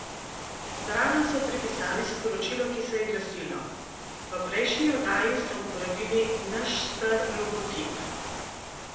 Zraven so pripisali sporočilo, ki se je glasilo: "V prejšnji oddaji ste uporabili naš star logotip.